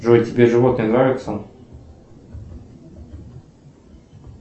джой тебе животные нравятся